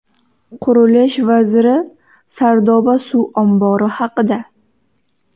Qurilish vaziri Sardoba suv ombori haqida.